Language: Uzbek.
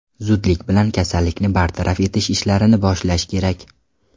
Zudlik bilan kasallikni bartaraf etish ishlarini boshlash kerak.